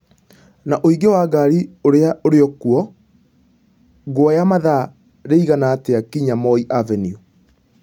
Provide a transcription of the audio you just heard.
na wũingĩ wa ngari ũria ũrikũo ngũoya mathaa rĩigana atya kinya moi Avenue